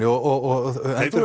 og